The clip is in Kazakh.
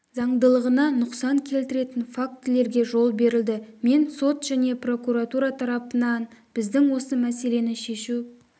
заңдылығына нұсқан келтіретін фактілерге жол берілді мен сот және прокуратура тарапынан біздің осы мәселені шешу